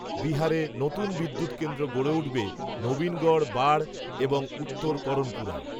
বিহারে নতুন বিদ্যুত্কেন্দ্র গড়ে উঠবে, নবিনগর বাঢ়, এবং, উত্তর করনপুরায়